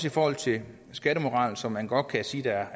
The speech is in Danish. i forhold til skattemoral som man godt kan sige er